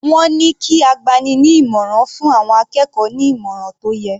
Wọ́n ní kí agbani-ní-ìmọ̀ràn fún àwọn akẹ́kọ̀ọ́ ní ìmọ̀ràn tó yẹ.